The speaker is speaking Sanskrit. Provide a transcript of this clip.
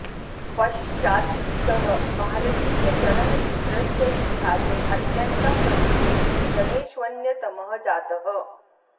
पश्चात् सः भारतीयचलनचित्रस्य इतिहासे अत्यन्तं प्रमुखेषु जनेष्वन्यतमः जातः